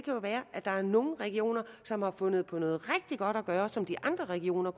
jo være at der er nogle regioner som har fundet på noget rigtig godt som de andre regioner